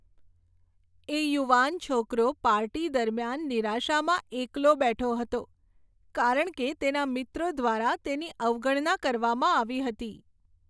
એ યુવાન છોકરો પાર્ટી દરમિયાન નિરાશામાં એકલો બેઠો હતો કારણ કે તેના મિત્રો દ્વારા તેની અવગણના કરવામાં આવી હતી.